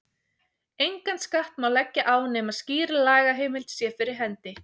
Engan skatt má leggja á nema skýr lagaheimild sé fyrir hendi.